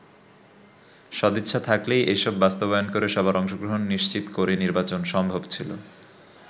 সদিচ্ছা থাকলেই এসব বাস্তবায়ন করে সবার অংশগ্রহণ নিশ্চিত করে নির্বাচন সম্ভব ছিল।